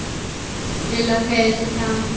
Lilla teygði sig fram.